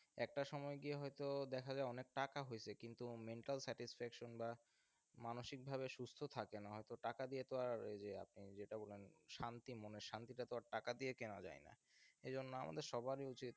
একটা সময় গিয়ে হয়তো দেখা যায় অনেক টাকা হয়েছে কিন্তু mental satisfaction বা মানসিকভাবে সুস্থ থাকে না হয়ত টাকা দিয়ে তো আর ওই যে আপনি যেটা বললেন শান্তি মনের শান্তি তো আর টাকা দিয়ে কেনা যায় না সেজন্য আমাদের সবারই উচিত,